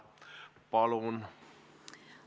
Palun!